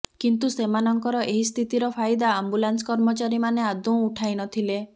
କିନ୍ତୁ ସେମାନଙ୍କର ଏହି ସ୍ଥିତିର ଫାଇଦା ଆମ୍ବୁଲାନ୍ସ କର୍ମଚାରୀମାନେ ଆଦୌ ଉଠାଇ ନଥିଲେ